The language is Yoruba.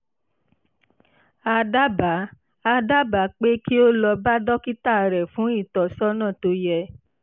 a dábàá a dábàá pé kí o lọ bá dókítà rẹ fún ìtọ́sọ́nà tó yẹ